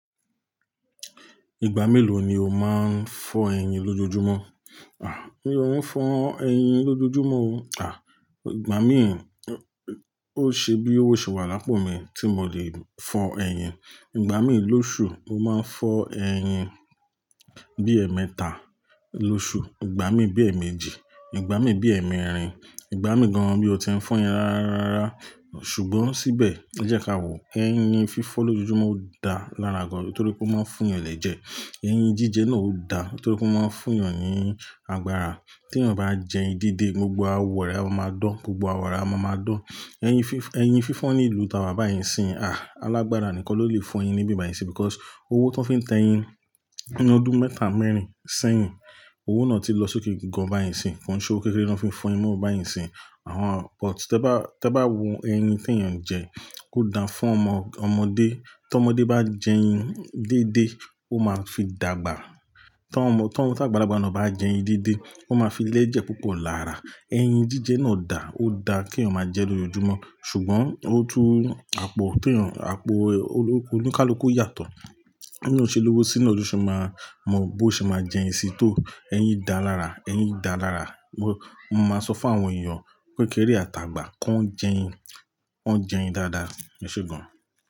Ìgbà mélòó ni o máa ń fọ ẹyin lójojúmọ́? À, mi ò ní fọ ẹyin lójojúmọ́ o. À, ìgbà mí ò-- o ṣe bí owó ṣe wà lápò mi tí mo lè fọ ẹyin. Ìgbà mí lóṣù mo máa ń fọ ẹyin bí ẹ̀ẹ̀mẹta lóṣù, ìgbà mí bí ẹ̀ẹ̀mejì, ìgbà mí bí ẹ̀ẹ̀mẹrin, ìgbà mí gan-an mí ó ti ń fọ ẹyin rárá. Ṣùgbọ́n síbẹ̀, ẹ jẹ́ ka wò, ẹyin fífọ́ lójojúmọ́ o da lára gan-an torí pé ó máa ń fú'yan ẹlẹ́jẹ̀. Eyin jíjẹ náà o da nitorí pé ó máa ń fún èèyàn ní agbára. Tí èèyàn bá jẹ ẹyin dédé, gbogbo awọ̀ re a máa maa dán, gbogbo awọ re a maa máa dán. Eyin fif- ẹyin fífọ́n ní ìlú tàwà báyìí sí, àh, alágbára nìkan ló lè fọ ẹyin níbí báyìí sí because owó tó fi ń tẹ ẹyin nínú ọdún mẹ́tà mẹ́rin sẹ́yìn, owó náà ti lọ sókè gan-an báyìí sí. Kon ṣọ́wo kéké ló fi ń fọ ẹyin mọ́ báyìí sí. Àwọn-- but tí ẹ bá, tí ẹ bá wo ẹyin tí èèyàn ń jẹ, ó da fún ọmọ- ọmọdé. Tí ọmọdé bá jẹ ẹyin dédé, ó máa fi dàgbà. Tí wọ́n, tí àgbàlagbà náà bá jẹ ẹyin dédé, ó máa fi lẹ́jẹ̀ púpọ̀ lára. Eyin jíjẹ náà dà, ó da kí èèyàn máa jẹ lójoojúmọ́. Ṣùgbọ́n ó tú àpọ̀ tí èèyàn, àpọ̀ olóko, oníkálùkù yàtọ̀. B'eeyan ṣe lówó sí naa lo se máa mọ b'óun ṣe máa jẹ ẹyin sí tó. Eyin dà lára, eyin dà lára. Mo, mo máa sọ fún àwọn èèyàn kékéré àtàgbà kó ń jẹ ẹyin, wọ́n jẹ ẹyin dáadáa, ṣùgbọ́n.